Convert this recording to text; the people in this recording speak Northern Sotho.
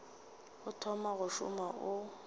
o thoma go šoma o